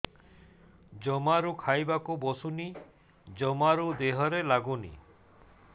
ଜମାରୁ ଖାଇବାକୁ ବସୁନି ଜମାରୁ ଦେହରେ ଲାଗୁନି